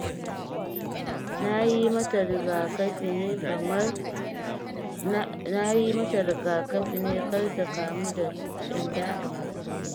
Na yi mata riga kafi ne kar ta kamu da ƙyanda kamar Salma